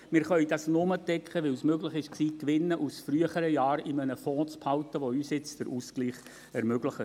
Wir können das nur decken, weil es möglich war, Gewinne aus früheren Jahren in einem Fonds zu behalten, der uns jetzt den Ausgleich ermöglicht.